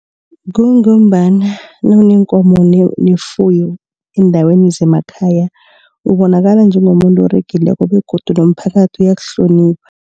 Kungombana nawuneenkomo nefuyo endaweni zemakhaya ubonakala njengomuntu oregileko begodu nomphakathi uyakuhlonipha.